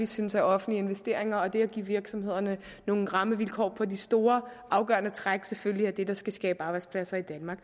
synes at offentlige investeringer og det at give virksomhederne nogle rammevilkår på de store afgørende træk selvfølgelig er det der skal skabe arbejdspladser i danmark